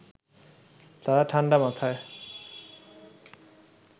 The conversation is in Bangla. তারা ঠাণ্ডা মাথায়